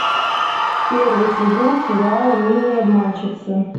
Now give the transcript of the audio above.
первый сезон сериала милые обманщицы